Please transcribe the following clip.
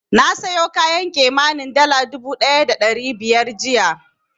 Na sayo kayan kimanin dala dubu ɗaya da ɗari biyar jiya.